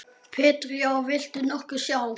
Pétur: Já, viltu nokkuð sjá?